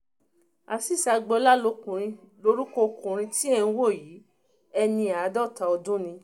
azeez agboola lorúkọ ọkùnrin tí ẹ̀ ń wò yìí ẹni àádọ́ta ọdún ni